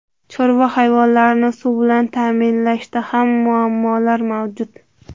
Chorva hayvonlarini suv bilan ta’minlashda ham muammolar mavjud.